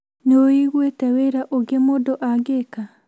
Nĩ ũiguĩte wĩra ũngĩ mũndũ angĩka?